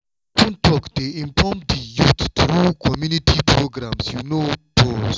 to encourage open discussions dey empower safe choices wey na trained educators dey lead make we pause talk am honestly.